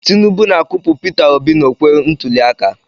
Tinubu na-akụpụ Peter obi n'okwe ntụliaka.